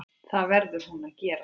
Það verður hún að gera.